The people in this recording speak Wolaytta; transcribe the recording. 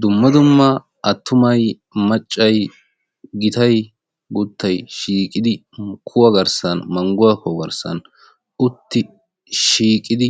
dumma dumma attumay maccay shiiqidi manguwaa kuhaa garssani shiiqidi